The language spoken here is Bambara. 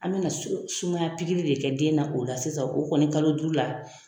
An bɛna sumaya de kɛ den na o la sisan o kɔni kalo duuru la.